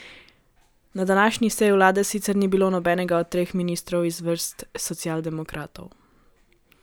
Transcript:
Na današnji seji vlade sicer ni bilo nobenega od treh ministrov iz vrst socialdemokratov.